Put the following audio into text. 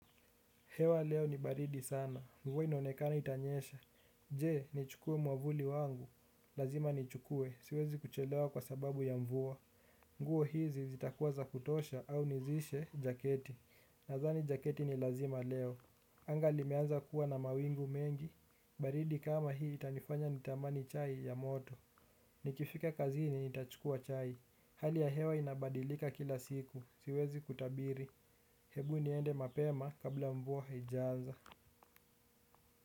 Hewa leo ni baridi sana. Mvua inaonekana itanyesha. Je, nichukue mwavuli wangu? Lazima nichukue. Siwezi kuchelewa kwa sababu ya mvua. Nguo hizi zitakuwa za kutosha au nihusishe jaketi. Nazani jaketi ni lazima leo. Anga limeanza kuwa na mawingu mengi. Baridi kama hii itanifanya nitamani chai ya moto. Nikifika kazini nitachukua chai. Hali ya hewa inabadilika kila siku. Siwezi kutabiri. Hebu niende mapema kabla mvua haijaanza.